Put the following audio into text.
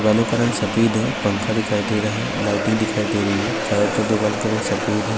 دیوالو کا رنگ سفید ہے پھنکا دکھایی دے رہا ہے، لیٹنگ دکھایی دے رہی ہے، چارو ترفف دوالو کا رنگ سفید ہے-